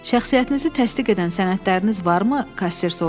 Şəxsiyyətinizi təsdiq edən sənədləriniz varmı?